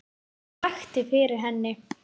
Hvað vakti fyrir henni?